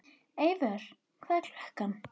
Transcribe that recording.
Eivör, hvað er klukkan?